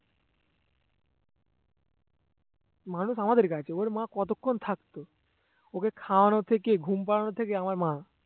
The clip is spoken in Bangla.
মানুষ আমাদের কাছে ওর মা কতক্ষন থাকতো ওকে খাওয়ানো থেকে ঘুম পড়ানো থেকে আমার মা